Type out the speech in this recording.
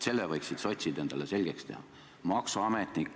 Selle võiksid sotsid endale selgeks teha.